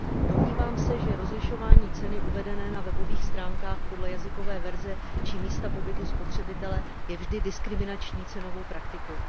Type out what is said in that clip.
Domnívám se, že rozlišování ceny uvedené na webových stránkách podle jazykové verze či místa pobytu spotřebitele je vždy diskriminační cenovou praktikou.